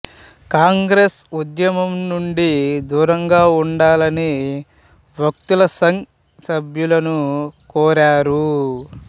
కాంగ్రెస్ ఉద్యమం నుండి దూరంగా ఉండాలని వక్తలు సంఘ్ సభ్యులను కోరారు